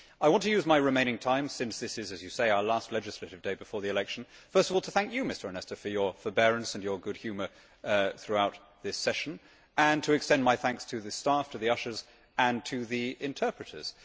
I want to use my remaining time since this is as you say our last legislative day before the election first of all to thank you, Mr Onesta, for your forbearance and your good humour throughout this session and to extend my thanks to the staff, to the ushers and to the interpreters.